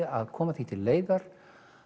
að koma því til leiðar